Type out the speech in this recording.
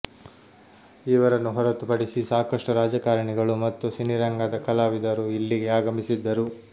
ಇವರನ್ನು ಹೊರತು ಪಡಿಸಿ ಸಾಕಷ್ಟು ರಾಜಕಾರಣಿಗಳು ಮತ್ತು ಸಿನಿರಂಗದ ಕಲಾವಿದರು ಇಲ್ಲಿಗೆ ಆಗಮಿಸಿದ್ದರು